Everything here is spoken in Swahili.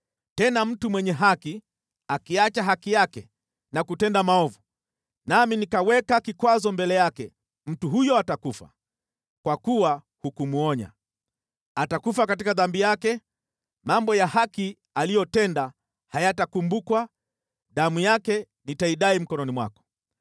“Tena, mtu mwenye haki akiacha haki yake na kutenda maovu, nami nikaweka kikwazo mbele yake mtu huyo atakufa. Kwa kuwa hukumwonya, atakufa katika dhambi yake. Mambo ya haki aliyotenda, hayatakumbukwa, damu yake nitaidai mkononi mwako.